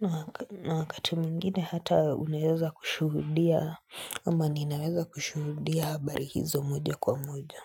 Na wakati mwingine hata unaweza kushuhudia, ama ninaweza kushuhudia habari hizo moja kwa moja.